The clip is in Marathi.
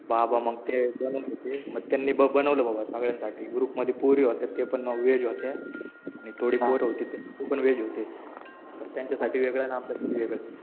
बाबा मग ते बनवून घेते. मग त्यांनी बनवलं बाबा सगळ्यांसाठी. ग्रुपमध्ये पोरी होत्या त्या पण व्हेज होत्या. आणि थोडी पोरं होती ती पण व्हेज होती. तर त्यांच्यासाठी वेगळं आणि आमच्यासाठी वेगळं